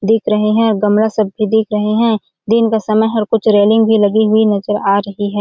दिख रहे है गमला सब भी दिख रहे है दिन का समय हर कुछ रेलिंग भी लगी हुई नजर आ रही हैं।